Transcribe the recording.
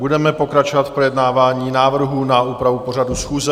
Budeme pokračovat v projednávání návrhů na úpravu pořadu schůze.